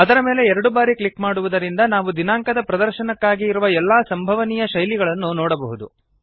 ಅದರ ಮೇಲೆ ಎರಡು ಬಾರಿ ಕ್ಲಿಕ್ ಮಾಡುವುದರಿಂದ ನಾವು ದಿನಾಂಕದ ಪ್ರದರ್ಶನಕ್ಕಾಗಿ ಇರುವ ಎಲ್ಲಾ ಸಂಭವನೀಯ ಶೈಲಿಗಳನ್ನು ನೋಡಬಹುದು